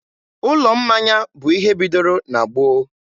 ụlọ mmanya bụ ihe bidoro na gboo.